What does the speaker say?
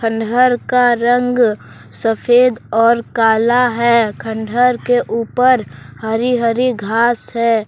घर का रंग सफेद और काला है खंडर के ऊपर हरी हरी घास है।